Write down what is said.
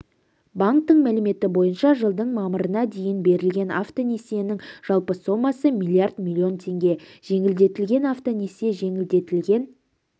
банктің мәліметі бойынша жылдың мамырына дейін берілген автонесиенің жалпы сомасы миллиард миллион теңге жеңілдетілген автонесие жеңілдетілген